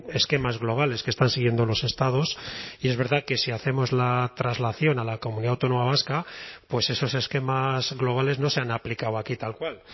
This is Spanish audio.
esquemas globales que están siguiendo los estados y es verdad que si hacemos la traslación a la comunidad autónoma vasca pues esos esquemas globales no se han aplicado aquí tal cual